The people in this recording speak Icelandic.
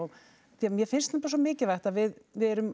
því mér finnst svo mikilvægt við við erum